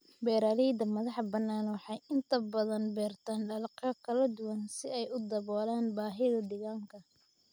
Beeralayda madaxa banaan waxay inta badan beertaan dalagyo kala duwan si ay u daboolaan baahida deegaanka.